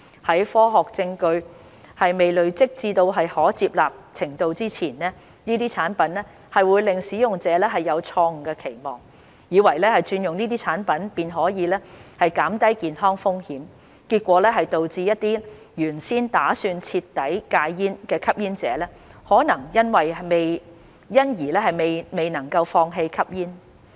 在科學證據尚未出現和累積至可接納程度前，這些產品或會令使用者有錯誤期望，以為轉用這些產品便可減低健康風險，結果導致一些原先打算徹底戒煙的吸煙者可能因而未能放棄吸煙。